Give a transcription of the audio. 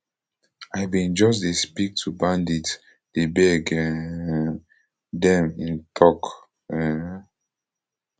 i bin just dey speak to bandits dey beg um dem im tok um